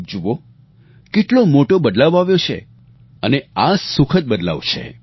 જુઓ કેટલો મોટો બદલાવ આવ્યો છે અને આ સુખદ બદલાવ છે